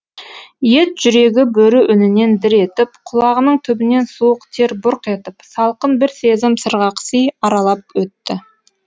ет жүрегі бөрі үнінен дір етіп құлағының түбінен суық тер бұрқ етіп салқын бір сезім сырғақси аралап өтті